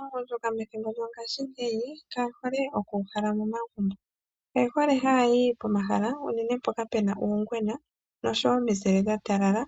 Aagundjuka methimbo lyongashingeyi kaye hole oku kala momagumbo, oye hole haya yi pomahala unene mpoka pena uungwena noshowo ominzile dha talala